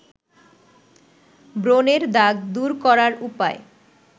ব্রনের দাগ দূর করার উপায়